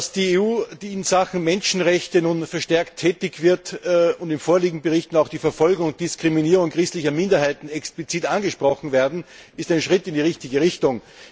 Dass die EU in Sachen Menschenrechte nun verstärkt tätig wird und dass in vorliegenden Berichten auch die Verfolgung und Diskriminierung christlicher Minderheiten explizit angesprochen wird, ist ein Schritt in die richtige Richtung.